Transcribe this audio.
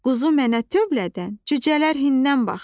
Quzu mənə tövlədən, cücələr hindən baxdı.